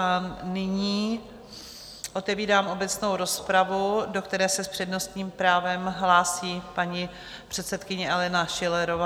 A nyní otevírám obecnou rozpravu, do které se s přednostním právem hlásí paní předsedkyně Alena Schillerová.